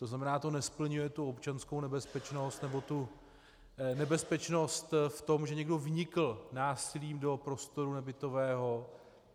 To znamená, to nesplňuje tu občanskou nebezpečnost, nebo tu nebezpečnost v tom, že někdo vnikl násilím do prostoru nebytového.